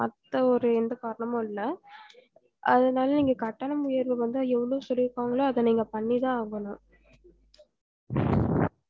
மத்த ஒரு எந்த காரணமும் இல்ல அதனால நீங்க கட்டணம் உயர்வு வந்து எவ்ளோ சொல்லி இருக்காங்களோ அத நீங்க பணித்தான் ஆகணும்